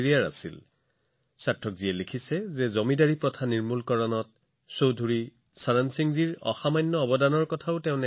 চৌধুৰী চৰণ সিং জীৰ বিষয়ে সাৰ্থকজীয়ে লিখিছে যে তেওঁ নাজানে যে জমিদাৰী বিলুপ্তিৰ ক্ষেত্ৰত চৌধুৰী চৰণ সিংজীৰ অৱদান যথেষ্ট আছিল